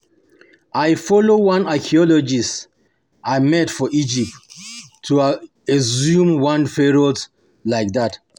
I follow one archeologist I meet for Egypt go exhume one Pharoah like dat